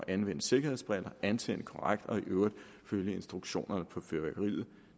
anvende sikkerhedsbriller antænde fyrværkeriet korrekt og i øvrigt følge instruktionerne på fyrværkeriet